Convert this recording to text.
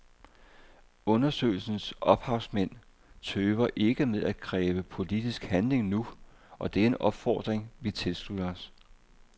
Undersøgelsens ophavsmænd tøver ikke med at kræve politisk handling nu, og det er en opfordring vi tilslutter os.